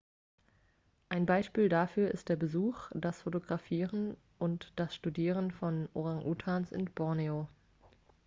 ein beispiel dafür ist der besuch das fotografieren und das studieren von orangutangs in borneo